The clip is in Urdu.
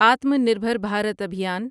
آتما نربھر بھارت ابھیان